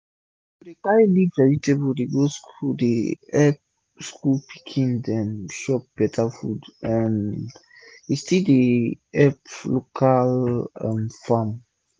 to dey carry leaf vegetable go school direct dey epp school pikin dem chop beta food um and e still dey epp local um farm